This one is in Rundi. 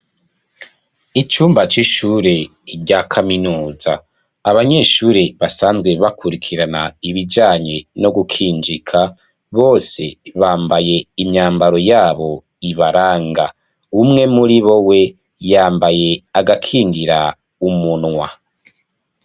Icumba c'ishure rya kaminuza, abanyeshure, basanzwe bakurikirana ibijanye no gukinjika, bose bambaye imyambaro yabo ibaranga, umwe muri bo we, yambaye agakingira umunwa.